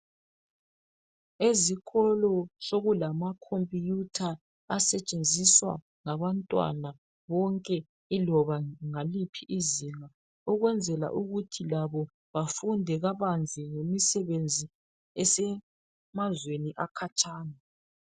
Ezikolo sokulamakhompuyutha asetshenziswa ngabantwana bonke iloba ngaliphi izinga ukwenzela ukuthi labo bafunde kabanzi ngemisebenzi esemazweni akhatshana.